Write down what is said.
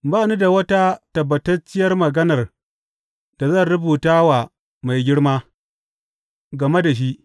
Ba ni da wata tabbatacciyar maganar da zan rubuta wa Mai Girma game da shi.